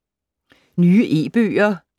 Nye e-bøger